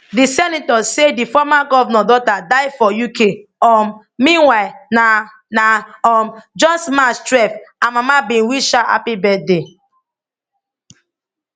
di senator say di former govnor daughter die for uk um meanwhile na na um just march twelve her mama bin wish her happy birthday